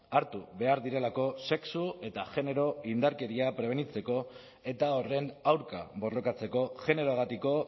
hartu behar direlako sexu eta genero indarkeria prebenitzeko eta horren aurka borrokatzeko generoagatiko